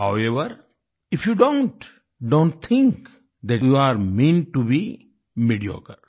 however if you don't do not think that you are meant to be mediocre